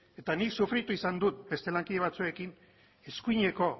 eta nik sufritu izan dut beste lankide batzuekin eskuineko